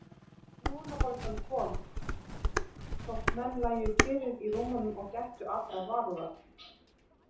Lungnabólgan kom, þótt menn lægju kyrrir í rúmunum og gættu allrar varúðar.